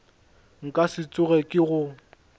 nka se tsoge ke go